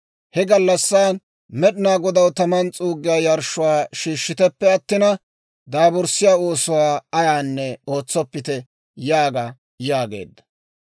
He gallassan Med'inaa Godaw taman s'uuggiyaa yarshshuwaa shiishshiteppe attina, daaburssiyaa oosuwaa ayaanne ootsoppite› yaaga» yaageedda.